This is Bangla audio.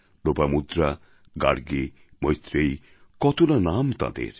লোপামুদ্রা গার্গী মৈত্রেয়ী কত না নাম তাঁদের